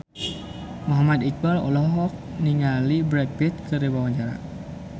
Muhammad Iqbal olohok ningali Brad Pitt keur diwawancara